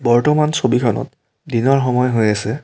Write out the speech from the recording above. বৰ্তমান ছবিখনত দিনৰ সময় হৈ আছে।